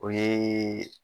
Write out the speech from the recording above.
O yee